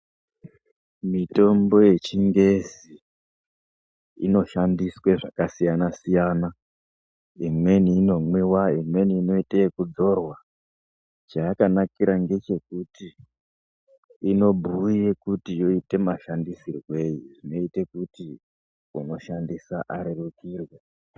Mitombo yechingezi inoshandiswa zvakasiyana siyana. Imweni inomwiwa. Imweni inoite okudzorwa. Chayakanakira ngechekuti inobhuya kuti yoitwe mashandisirwei zvinoita kuti unoshandisa arerukirwe.